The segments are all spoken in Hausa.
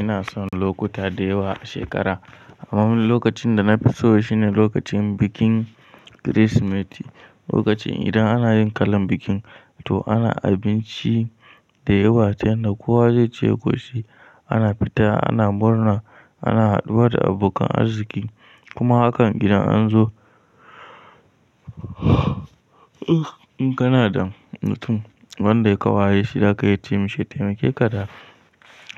Ina son lokuta dayawa a shekara. Amma lokacin da na fi so shine lokacin bikin Kirsimeti. Lokacin idan ana yin kalan bikin, to ana abinci da yawa, ta yanda kowa zai ce ƙoshi. Ana fita, ana murna, ana haɗuwa da abokan arziki, kuma hakan gidan an zo kana da mutum wanda ya ka wayeshi, za ka yi masa taimake ka da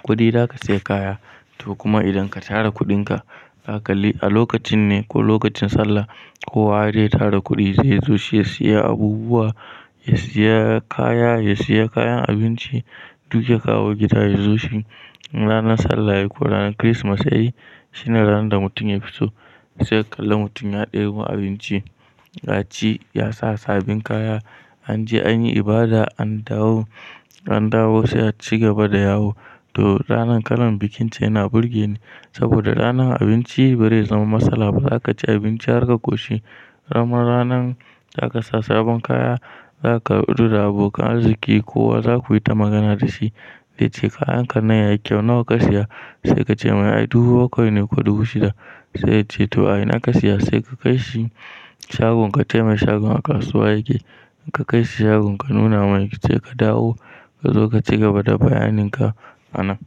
kuɗi, za ka sayi kaya. To kuma idan ka tara kuɗinka, kakalli a lokacin ne ko lokacin Sallah, kowa ya tara kuɗi zai zo shi ya siya abubuwa, ya siya kaya, ya siya kayan abinci, duk ya kawo gida ya zo shi. Ranar Sallah ko ranar Kirsimati shine ranar da mutum ya fi so. Sai ka kalla mutum ya ɗebo abinci, ya ci, ya sa sabbin kaya, an je an yi ibada, an dawo, an dawo sai a ci gaba da yawo. To ranar kalan bikinta yana burge ni saboda ranar abinci ba zai zama matsala ba. Za ka ci abinci har ka ƙoshi. Kaman ranan za ka sa sabon kaya, za ka lura da abokan arziki, kowa za ku yi ta magana da shi. Zai ce kayan kannan yayi kyau, nawa ka siya? Sai ka ce mai "Ai dubu bakwai ne ko dubu shida." Sai ya ce to "A ina ka siya?" Sai ka kai shi shagon, kace mai shagon a kasuwa yake. In ka kai shi shagon ka nuna mai, ki ce ka dawo ka zo ka cigaba da bayanin ka ana.